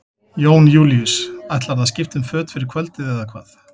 Jón Júlíus: Ætlarðu að skipta um föt fyrir kvöldið eða hvað?